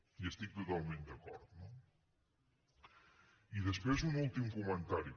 hi estic totalment d’acord no i després un últim comentari